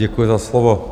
Děkuji za slovo.